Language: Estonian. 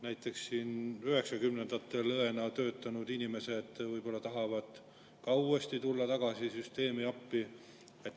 Näiteks üheksakümnendatel õena töötanud inimesed võib-olla tahavad ka tulla tagasi süsteemi, tulla appi.